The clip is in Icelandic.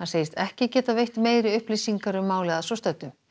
hann segist ekki geta veitt meiri upplýsingar um málið að svo stöddu